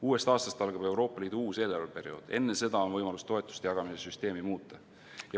Uuest aastast algab Euroopa Liidu uus eelarveperiood, enne seda on võimalus toetuste jagamise süsteemi muuta.